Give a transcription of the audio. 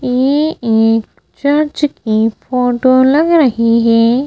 ये एक चर्च की फोटो लग रही है।